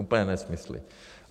Úplné nesmysly.